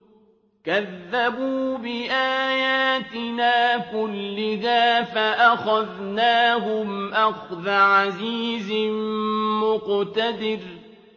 كَذَّبُوا بِآيَاتِنَا كُلِّهَا فَأَخَذْنَاهُمْ أَخْذَ عَزِيزٍ مُّقْتَدِرٍ